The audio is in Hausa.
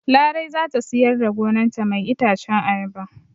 Larai zata siyar da gonan ta mai itacen ayaba